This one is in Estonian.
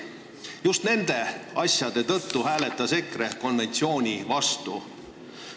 Just nende asjade tõttu hääletas EKRE konventsiooni vastu.